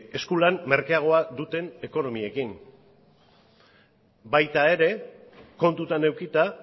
eskulan merkeagoa duten ekonomiekin baita ere kontutan edukita